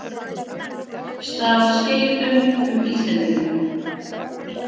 Stal skeytum um Íslendinga